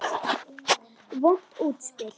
Vont útspil.